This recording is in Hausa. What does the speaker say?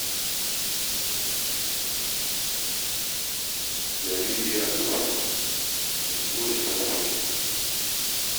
Jariri yana ta kuka, yanzu uwansa za ta ba shi nono.